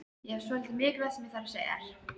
Ég hef svolítið mikilvægt sem ég þarf að segja þér.